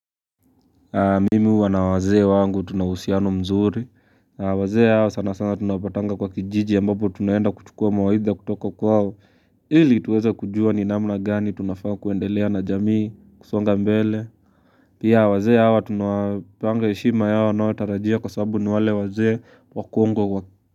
Mimi huwa na wazee wangu tuna uhusiano mzuri wazee hawa sana sana tunapatanga kwa kijiji ambapo tunaenda kuchukua mawaidha kutoka kwao ili tuweze kujua ni namna gani tunafaa kuendelea na jamii kusonga mbele pia wazee hawa tunawapanga heshima yao wanayotarajia kwa sababu ni wale wazee wakongwe kwa.